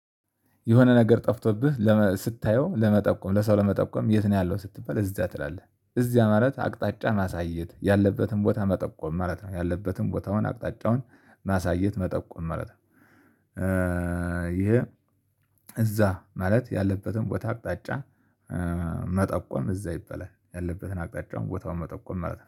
የሆነ ነገር ጠፍቶብህ ስታየው ለመጠቆም ለሰው ለመጠቆም የት ነው ያለው ስትባል እዚያ ትላለህ እዚያ ማለት አቅጣጫ ማሳየት ያለበትን ቦታ መጠቆም ማለት ነው ያለበትን ቦታውን አቅጣጫውን ማሳየት መጠቆም ማለት ነው ይሄ እዛ ማለት ያለበትን ቦታ አቅጣጫ መጠቆም እዛ ይበላል ያለበትን አቅጣጫውን ቦታውን መጠቆም ማለት ነው።